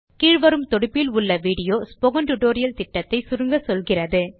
கீழ் வரும் தொடுப்பில் உள்ள விடியோ ஸ்போக்கன் டியூட்டோரியல் புரொஜெக்ட் ஐ சுருக்கமாக சொல்லுகிறது